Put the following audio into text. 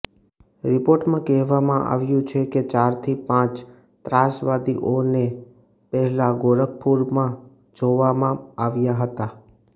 રિપોર્ટમાં કહેવામાં આવ્યુ છે કે ચારથી પાંચ ત્રાસવાદીઓને પહેલા ગોરખપુરમાં જોવામાં આવ્યા હતા